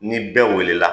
Ni bɛɛ wulila